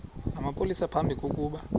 namapolisa phambi kokuba